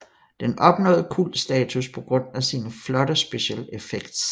Den nåede kultstatus på grund af sine flotte special effects